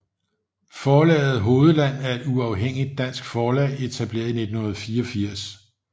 Forlaget Hovedland er et uafhængigt dansk forlag etableret i 1984